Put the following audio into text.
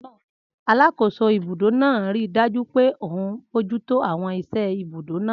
Alàkóso ibùdó náà ríi dájú pé òun bojútó àwọn iṣẹ́ ibùdó náà